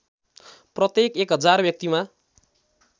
प्रत्येक १००० व्यक्तिमा